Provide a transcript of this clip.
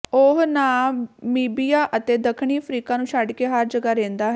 ਉਹ ਨਾਮੀਬੀਆ ਅਤੇ ਦੱਖਣੀ ਅਫਰੀਕਾ ਨੂੰ ਛੱਡ ਕੇ ਹਰ ਜਗ੍ਹਾ ਰਹਿੰਦਾ ਹੈ